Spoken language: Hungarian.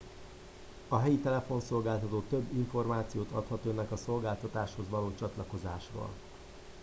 a helyi telefonszolgáltató több információt adhat önnek a szolgáltatáshoz való csatlakozásról